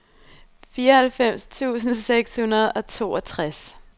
fireoghalvfems tusind seks hundrede og toogtres